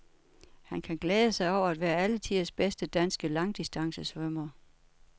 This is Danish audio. Han kan glæde sig over at være alle tiders bedste danske langdistancesvømmer.